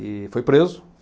E foi preso.